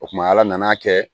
O kuma ala nana kɛ